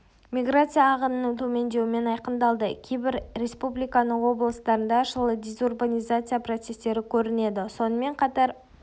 миграция ағынының төмендеуімен айқындалды кейбір республиканың облыстарында жылы дезурбанизация процестері көрінеді сонымен қатар